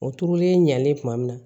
O turulen ɲalen kuma min na